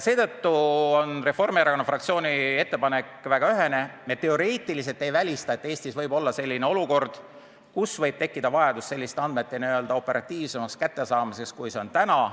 Seetõttu on Reformierakonna fraktsiooni ettepanek väga ühene: me teoreetiliselt ei välista, et Eestis võib olla selline olukord, kus võib tekkida vajadus selliste andmete operatiivsemaks kättesaamiseks kui täna.